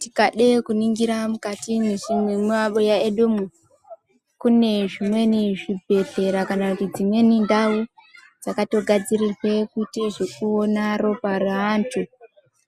Tikade kuningira mukati mwemabuya mwedumo kune zvimweni zvibhehleya kana kuti dzimweni ndau dzakatogadzirirwe kuite zvekuona ropa reantu